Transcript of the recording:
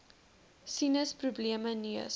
sinus probleme neus